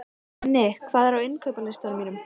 Nenni, hvað er á innkaupalistanum mínum?